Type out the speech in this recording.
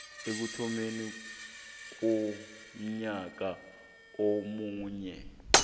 ekuthomeni konyaka omunye